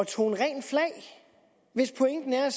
tone rent flag hvis pointen er